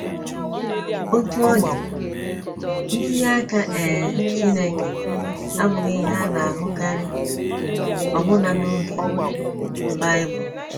Otú ọ dị, ntinye aka um Chineke abụghị ihe a na - ahụkarị, ọbụna n’oge Bible.